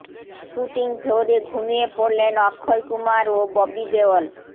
shooting ফ্লোরে ঘুমিয়ে পড়লেন অক্ষয় কুমার ও ববি দেওল